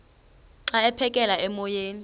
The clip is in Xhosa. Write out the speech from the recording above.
xa aphekela emoyeni